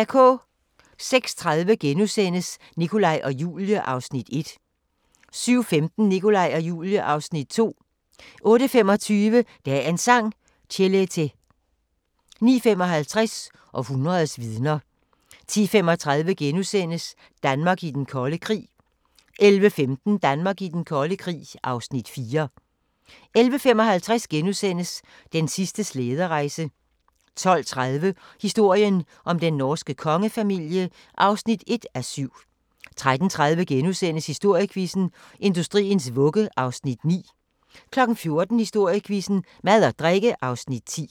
06:30: Nikolaj og Julie (Afs. 1)* 07:15: Nikolaj og Julie (Afs. 2) 08:25: Dagens Sang: Chelete 09:55: Århundredets vidner 10:35: Danmark i den kolde krig (Afs. 3)* 11:15: Danmark i den kolde krig (Afs. 4) 11:55: Den sidste slæderejse (8:8)* 12:30: Historien om den norske kongefamilie (1:7) 13:30: Historiequizzen: Industriens vugge (Afs. 9)* 14:00: Historiequizzen: Mad og drikke (Afs. 10)